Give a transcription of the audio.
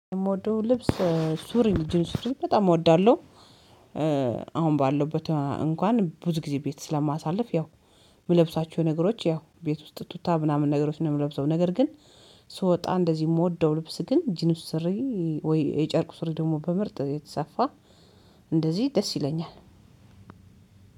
የምወደው ልብስ ሱሪ ጅንስ ሱሪ በጣም እወዳለሁ። አሁን ባለውበት እንኳን ብዙ ጊዜ ቤት ስለማሳልፍ ያው የምለብሳቸው ነገሮች ያው ቤት ውስጥ ቱታ ምናምን ነገሮችን የምለብሰው ነገር ግን ስወጣ እንደዚህ የምወደው ልብስ ግን ጂንስሪ ወይ የጨርቁስሪ ደግሞ በምርጥ የተሰፋ እንደዚህ ደስ ይለኛል።